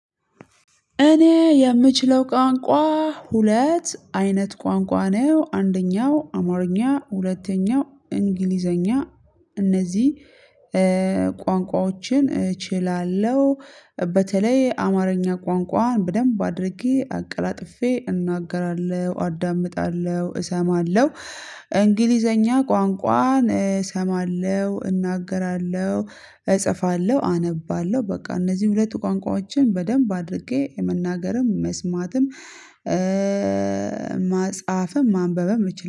እኔ የምችለው ቋንቋ ሁለት አይነት ቋንቋ ነው አንደኛው አማርኛ ሁለተኛው እንግሊዘኛ። እነዚህ ቋንቋዎችን በተለይ አማርኛ ቋንቋን በደንብ አድርጌ አቀላጥፌ እናገራለሁ አዳምጣለሁ እሰማለሁ። እንግሊዘኛ ቋንቋን እሰማለሁ እናገራለሁ እጽፋለሁ አነባለሁ። በቃ እነዚህ ሁለቱ ቋንቋዎችን በደንብ አድርጌ የመናገርም መስማትም ማጽሐፍም ማንበብም እችላለሁ